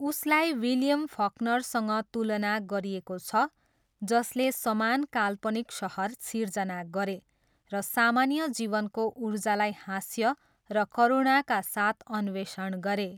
उसलाई विलियम फकनरसँग तुलना गरिएको छ जसले समान काल्पनिक सहर सिर्जना गरे र सामान्य जीवनको ऊर्जालाई हास्य र करुणाका साथ अन्वेषण गरे।